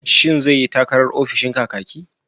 Shin zai yi takarar ofishin Kakaki?